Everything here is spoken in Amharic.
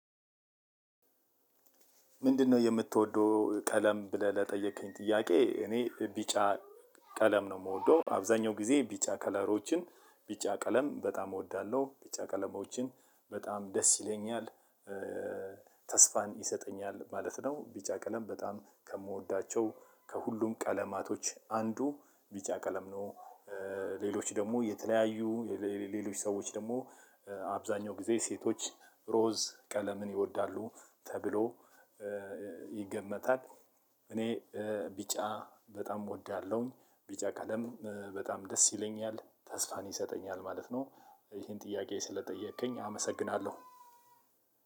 ምንድነው? የምትወደው ቀለም ብለህ ለጠየከኝ ጥያቄ እኔ ቢጫ ቀለም ነው የምወደው አብዛኛው ጊዜ ቢጫ ከለሮችን ቢጫ ቀለም በጣም እወዳለሁ ቢጫ ቀለሞችን በጣም ደስ ይለኛል። ተስፋን ይሰጠኛል ማለት ነው። ቢጫ ቀለም በጣም ከምወዳቸው ከሁሉም ቀለማቶች አንዱ ቢጫ ቀለም ነው። ሌሎች ደግሞ የተለያዩ ሌሎች ሰዎች ደግሞ አብዛኛው ጊዜ ሴቶች ሮዝ ቀለምን ይወዳሉ ተብሎ ይገመታል። እኔ ቢጫ በጣም እወዳለሁኝ ቢጫ ቀለም በጣም ደስ ይለኛል ተስፋን ይሰጠኛል ማለት ነው። ይሄን ጥያቄ ስለጠየከኝ አመሰግናለሁ።